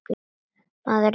Maður er ekki lengur einn.